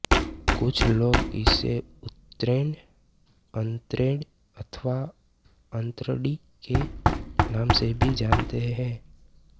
कुछ लोग इसे उत्रैण अत्रैण अथवा अत्रणी के नाम से भी जानते है